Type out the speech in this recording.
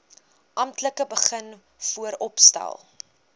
amptelik begin vooropstel